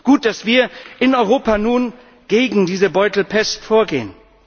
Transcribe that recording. Gut, dass wir in Europa nun gegen diese Beutelpest vorgehen.